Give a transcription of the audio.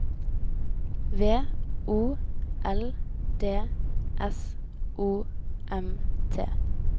V O L D S O M T